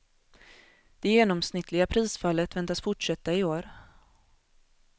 Det genomsnittliga prisfallet väntas fortsätta i år.